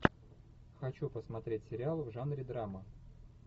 хочу посмотреть сериал в жанре драма